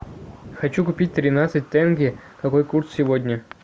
хочу купить тринадцать тенге какой курс сегодня